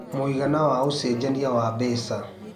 mũigana wa ũcenjanĩa wa mbeca